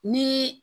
Ni